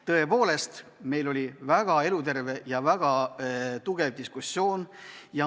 Tõepoolest, meil oli väga eluterve ja väga tugev diskussioon.